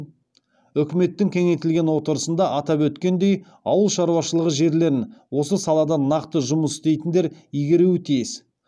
үкіметтің кеңейтілген отырысында атап өткендей ауыл шаруашылығы жерлерін осы салада нақты жұмыс істейтіндер игеруі тиіс